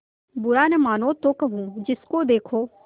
बुरा न मानों तो कहूँ जिसको देखो